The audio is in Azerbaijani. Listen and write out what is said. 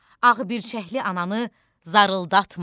Ağbirçəkli ananı zarıldatma.